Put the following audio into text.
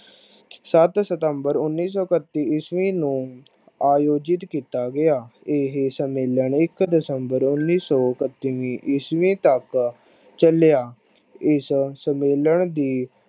ਸੱਤ september ਉਨੀ ਇੱਕਤੀ ਈਸਵੀ ਨੂੰ ਆਜੋਜਿਤ ਕੀਤਾ ਗਿਆ। ਇਹ ਸੰਮੇਲਨ ਇੱਕ december ਉਨੀ ਸੋ ਇਕਤੀ ਈਸਵੀ ਤਕ ਚਲਿਆ। ਇਸ ਸੰਮੇਲਨ ਦੀ